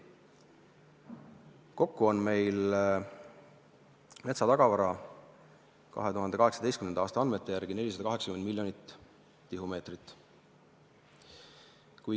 Kokku on meil metsa tagavara 2018. aasta andmete järgi 480 miljonit tihumeetrit.